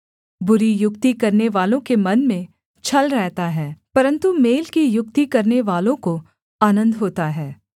बुरी युक्ति करनेवालों के मन में छल रहता है परन्तु मेल की युक्ति करनेवालों को आनन्द होता है